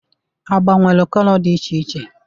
Agba nwere kọlọ dị iche iche.